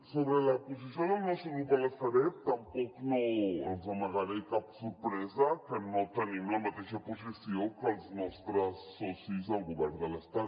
sobre la posició del nostre grup a la sareb tampoc no els amagaré cap sorpresa que no tenim la mateixa posició que els nostres socis al govern de l’estat